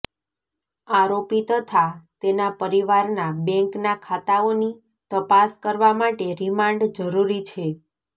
આરોપી તથા તેના પરિવારના બેંકના ખાતાઓની તપાસ કરવા માટે રિમાન્ડ જરૂરી છે